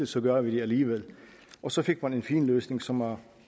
så gør vi det alligevel og så fik man en fin løsning som har